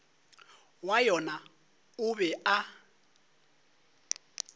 wa yona o be a